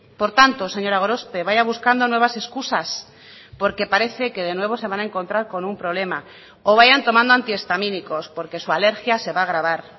por tanto señora gorospe vaya buscando nuevas excusas porque parece que de nuevo se van a encontrar con un problema o vayan tomando antihistamínicos porque su alergia se va a agravar